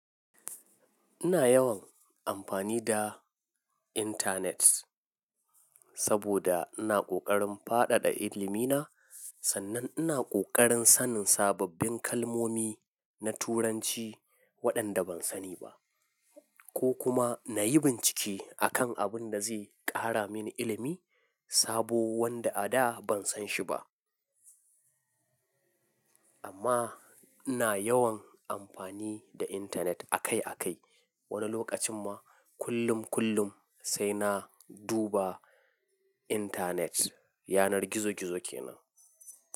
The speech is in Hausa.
Ina yawan amfani da internet saboda ina ƙoƙarin faɗaɗa ilimi na, sannan ina ƙoƙarin sanin sababbin kalmomi na Turanci waɗanda ban sani ba, ko kuma na yi bincike akan abin da zai ƙara mini ilimi sabo wanda a da ban san shi ba. Amma ina yawan amfani da internet akai akai. Wani lokacin ma kullum kullum sai na duba internet. Yanar gizo gizo ke nan.